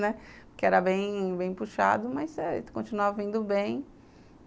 Né, porque era bem, bem puxado, mas eh continuava indo bem.